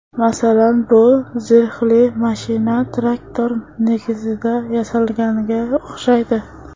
Masalan, bu zirhli mashina traktor negizida yasalganga o‘xshaydi.